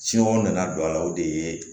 nana don a la o de ye